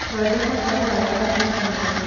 thondeka kahũa thaa thĩta mũthenya